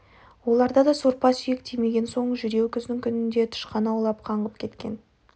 олар да сорпа-сүйек тимеген соң жүдеу күздің күнінде тышқан аулап қаңғып кеткен